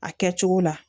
A kɛcogo la